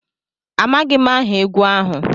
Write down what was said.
Amaghị m aha egwu ahụ